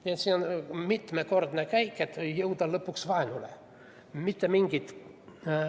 Nii et see on mitmekordne käik, et jõuda lõpuks vaenuni.